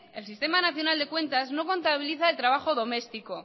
el sistema nacional de cuentas no contabiliza el trabajo doméstico